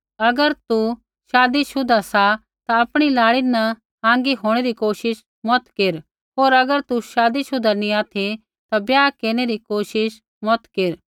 अगर तू शादीशुदा सा ता आपणी लाड़ी न अलग होंणै री कोशिश मत केर होर अगर तू शादीशुदा नैंई ऑथि ता ब्याह केरनै री कोशिश मत केर